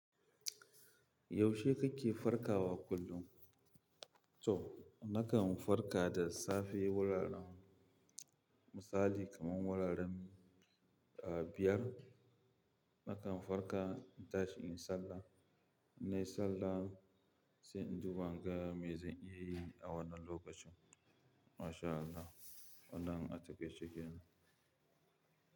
Yaushe kake farkawa kullum? To nakan farka da safe wuraren misali kaman wuraren biyar. Nakan farka in tashi in yi sallah, nai sallah sai in duba in ga mai zan iya yi a wannan lokacin. Masha allah wannan atakaice kenan.